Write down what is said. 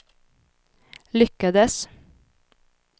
lyckades